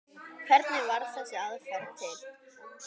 Hvernig varð þessi aðferð til?